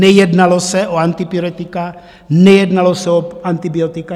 Nejednalo se o antivirotika, nejednalo se o antibiotika.